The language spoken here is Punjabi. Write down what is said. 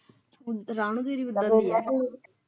ਇੰਤਜਾਮ ਕਰੀ ਬੰਦੇ ਦੀ ਅਗੋ।